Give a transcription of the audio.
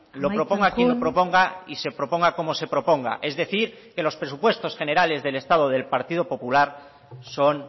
amaitzen joan lo proponga quien lo proponga y se proponga como se proponga es decir que los presupuestos generales del estado del partido popular son